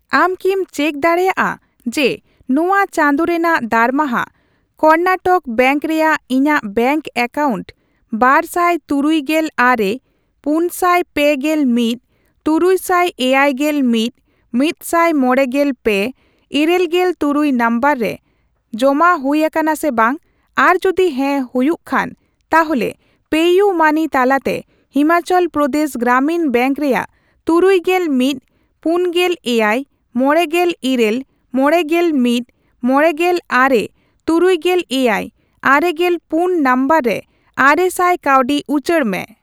ᱟᱢ ᱠᱤᱢ ᱪᱮᱠ ᱫᱟᱲᱮᱭᱟᱜᱼᱟ ᱡᱮ ᱱᱚᱣᱟ ᱪᱟᱸᱫᱳ ᱨᱮᱱᱟᱜ ᱫᱟᱨᱢᱟᱦᱟ ᱠᱚᱨᱱᱟᱴᱚᱠ ᱵᱮᱝᱠ ᱨᱮᱭᱟᱜ ᱤᱧᱟᱜ ᱵᱮᱝᱠ ᱮᱠᱟᱣᱩᱱᱴ ᱵᱟᱨ ᱥᱟᱭ ᱛᱩᱨᱩᱭᱜᱮᱞ ᱟᱨᱮ, ᱯᱩᱱᱥᱟᱭ ᱯᱮᱜᱮᱞ ᱢᱤᱫ, ᱛᱩᱨᱩᱭᱥᱟᱭ ᱮᱭᱟᱭᱜᱮᱞ ᱢᱤᱫ, ᱢᱤᱫᱥᱟᱭ ᱢᱚᱲᱮᱜᱮᱞ ᱯᱮ, ᱤᱨᱟᱹᱞᱜᱮᱞ ᱛᱩᱨᱩᱭ ᱱᱚᱢᱵᱚᱨ ᱨᱮ ᱮ ᱡᱚᱢᱟ ᱦᱩᱭ ᱟᱠᱟᱱᱟ ᱥᱮ ᱵᱟᱝ, ᱟᱨ ᱡᱩᱫᱤ ᱦᱮᱸ ᱦᱩᱭᱩᱜ ᱠᱷᱟᱱ, ᱛᱟᱦᱚᱞᱮ ᱯᱮᱤᱭᱩᱢᱟᱹᱱᱤ ᱛᱟᱞᱟᱛᱮ ᱦᱤᱢᱟᱪᱚᱞ ᱯᱨᱚᱫᱮᱥ ᱜᱨᱟᱢᱤᱱ ᱵᱮᱝᱠ ᱨᱮᱭᱟᱜ ᱛᱩᱨᱩᱭᱜᱮᱞ ᱢᱤᱫ, ᱯᱩᱱᱜᱮᱞ ᱮᱭᱟᱭ, ᱢᱚᱲᱮᱜᱮᱞ ᱤᱨᱟᱹᱞ, ᱢᱚᱲᱮᱜᱮᱞ ᱢᱤᱫ, ᱢᱚᱲᱮᱜᱮᱞ ᱟᱨᱮ, ᱛᱩᱨᱩᱭᱜᱮᱞ ᱮᱭᱟᱭ, ᱟᱨᱮᱜᱮᱞ ᱯᱩᱱ ᱱᱚᱢᱵᱚᱨ ᱨᱮ ᱟᱨᱮᱥᱟᱭ ᱠᱟᱹᱣᱰᱤ ᱩᱪᱟᱹᱲ ᱢᱮ ᱾